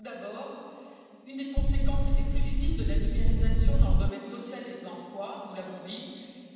Tout d'abord, une des conséquences les plus visibles de la numérisation dans le domaine social et de l'emploi, nous l'avons dit,